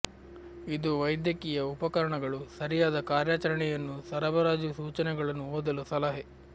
ಇದು ವೈದ್ಯಕೀಯ ಉಪಕರಣಗಳು ಸರಿಯಾದ ಕಾರ್ಯಾಚರಣೆಯನ್ನು ಸರಬರಾಜು ಸೂಚನೆಗಳನ್ನು ಓದಲು ಸಲಹೆ